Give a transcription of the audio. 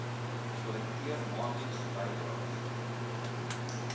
kollekteer maandeliks bydraes